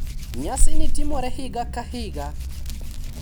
Nyasini timorega higa ka higa.